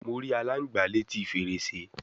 Mo ri alangba leti ferese